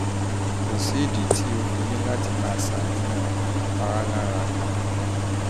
kò sídìí ltí o fi ní láti máa ṣàníyàn kò ní pa á lára